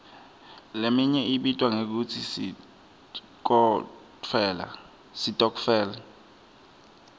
leminye ibitwa ngekutsi sitokfela